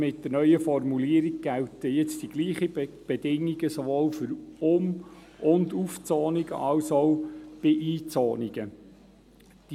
Mit der neuen Formulierung gelten nun sowohl für Um- und Aufzonungen als auch für Einzonungen die gleichen Bedingungen.